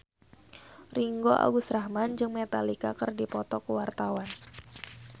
Ringgo Agus Rahman jeung Metallica keur dipoto ku wartawan